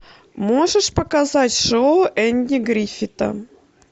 можешь показать шоу энди гриффита